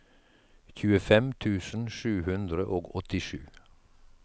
tjuefem tusen sju hundre og åttisju